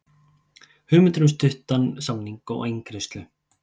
Hugmyndir um stuttan samning og eingreiðslu